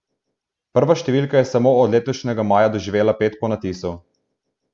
Prva številka je samo od letošnjega maja doživela pet ponatisov.